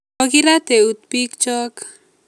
Kokirat eut bikyok